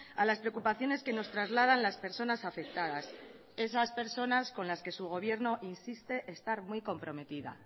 a las preocupaciones que nos trasladan las personas afectadas esas personas con las que su gobierno insiste estar muy comprometida